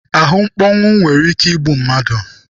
Ahụmkpọnwụ nwere ike igbu mmadụ.